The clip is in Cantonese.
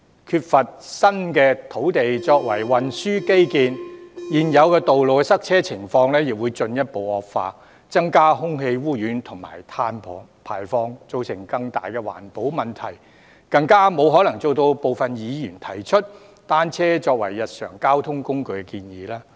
缺乏新土地作運輸基建，現有道路的塞車情況亦會進一步惡化，加劇空氣污染及碳排放，造成更大的環保問題，更沒可能做到大部分議員提出"單車作為日常交通工具"的建議。